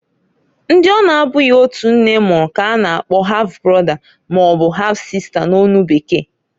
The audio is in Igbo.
Ndi ọ na -abụghi otu nne mụrụ k'a na-akpo half brother maọbụ half-sister n'onu bekee.